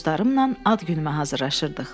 Dostlarımla ad günümdə hazırlayırdıq.